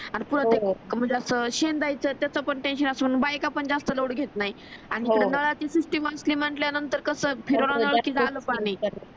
आणि शेंदायचं त्याचं पण टेन्शन असून बायका पण जास्त लोळ घेत नाही आणि इकडे नळाची सिस्टीम असली म्हटल्या नंतर कस फिरवा नळ कि झालं पाणी